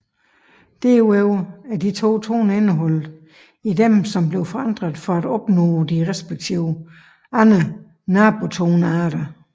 Derudover er de to toner indeholdt i dem som blev forandret for at opnå de respektive andre nabotonearter